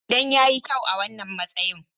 Idan ya yi kyau a wannan matsayi.